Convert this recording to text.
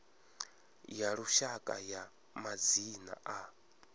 ya lushaka ya madzina a